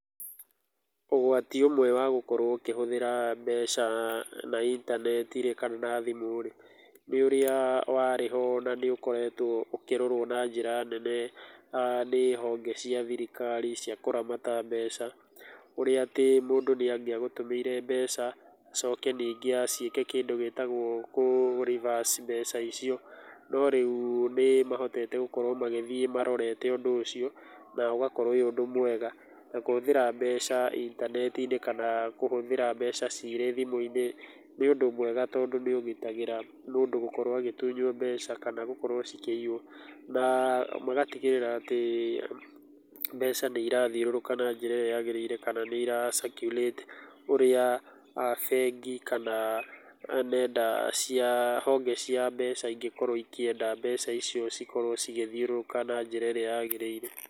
Ũgwati ũmwe wa gũkorwo ũkĩhũthĩra mbeca kana intaneti rĩ kana na thimũ rĩ ,nĩ ũrĩa warĩho na nĩ ũkoretwo ũkĩrorwo na njĩra nene nĩ honge cia thirikari cia kũramata mbeca, ũrĩa atĩ mũndũ nĩ angĩagũtũmĩire mbeca acoke ningĩ aciĩke kĩndũ gĩtagwo kũ reverse mbeca icio. No rĩu nĩ mahotete gũkorwo magĩthiĩ marorete ũndũ ũcio na ũgakorwo ũrĩ ũndũ mwega. Na kũhũthĩra mbeca intaneti-inĩ kana kũhũthĩra mbeca cirĩ thimũ-inĩ nĩ ũndũ mwega tondũ nĩ ũgitagĩra mũndũ gũkorwo akĩhũthĩra mbeca kana gũkorwo cikĩiywo, na magatigĩrĩra atĩ mbeca nĩ irathiũrũrũka na njĩra ĩrĩa yagĩrĩire kana nĩ ĩrĩa circulate ũrĩa bengi kana nenda cia honge cingĩkorwo ĩkĩenda mbeca icio cĩkorwo ĩgĩthĩũrũrũka na njĩra ĩrĩa yagĩrĩire.